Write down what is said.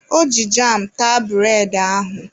O ji jam taa bụredị ahụ.